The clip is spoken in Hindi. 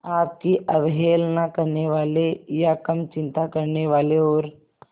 आपकी अवहेलना करने वाले या कम चिंता करने वाले और